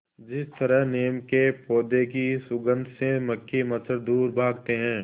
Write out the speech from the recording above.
जिस तरह नीम के पौधे की सुगंध से मक्खी मच्छर दूर भागते हैं